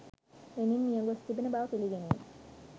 Lenin මියගොස් තිබෙන බව පිළිගැනීම